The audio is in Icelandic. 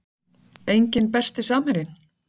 Enginn Besti samherjinn?